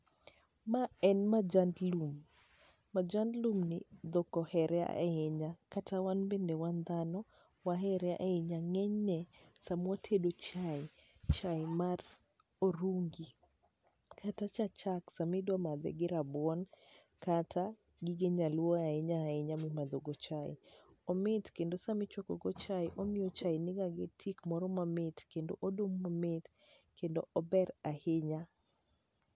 ma en majand lum majand lumni dhok ohere ahinya kata wan bende wan dhano wahere ahinya, ngenyne sama watedo chae, chae mar orungi kata cha chak sama idwa madhe gi rabuon kata gige nyaluo ahinya ahinya mimadho go chai kendo sami chuako go chai omiyo chai ni gi tik moro mamit kendo odum mamit kendo ober ahinya.